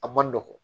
A man nɔgɔn